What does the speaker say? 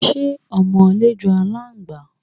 Ṣé ọmọlé jọ aláǹgbá?